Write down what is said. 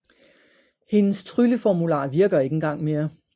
Hendes trylleformular virker ikke engang mere